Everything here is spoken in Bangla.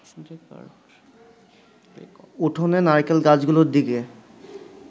উঠোনে নারকেল গাছগুলোর দিকে